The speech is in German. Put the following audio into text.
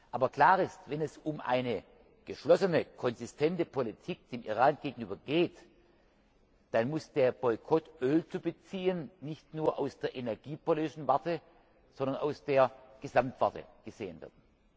Aber klar ist, wenn es um eine geschlossene, konsistente Politik dem Iran gegenüber geht, dann muss der Boykott, Öl zu beziehen, nicht nur aus der energiepolitischen Warte, sondern aus der Gesamtwarte gesehen werden.